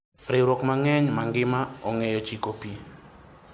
Ringruok mang'eny mangima ongeyo chiko pi.